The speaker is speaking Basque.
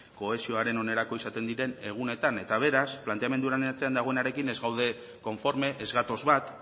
kohesioaren onerako izaten diren egunetan eta beraz planteamendu honen atzean dagoenarekin ez gaude konforme ez gatoz bat